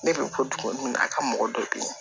Ne bɛ bɔ dugu min na a ka mɔgɔ dɔ bɛ yen